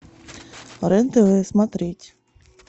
рен тв смотреть